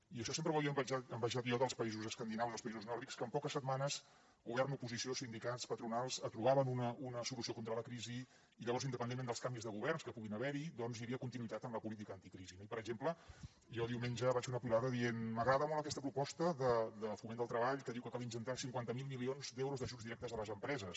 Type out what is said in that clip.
i això sempre ho havia envejat jo dels països escandinaus els països nòrdics que en poques setmanes govern oposició sindicats patronals trobaven una solució contra la crisi i llavors independentment dels canvis de governs que pugui haver hi doncs hi havia continuïtat en la política anticrisi no i per exemple jo diumenge vaig fer una piulada que deia m’agrada molt aquesta proposta de foment del treball que diu que cal injectar cinquanta miler milions d’euros d’ajuts directes a les empreses